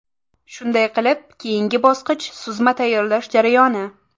Shunday qilib, keyingi bosqich suzma tayyorlash jarayoni.